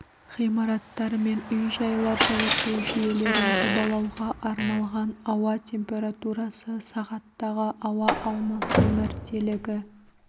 ғимараттар мен үй-жайлар жылыту жүйелерін жобалауға арналған ауа температурасы сағаттағы ауа алмасу мәртелігі